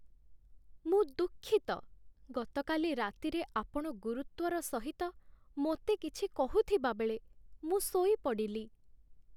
ମୁଁ ଦୁଃଖିତ, ଗତକାଲି ରାତିରେ ଆପଣ ଗୁରୁତ୍ଵର ସହିତ ମୋତେ କିଛି କହୁଥିବାବେଳେ ମୁଁ ଶୋଇପଡ଼ିଲି।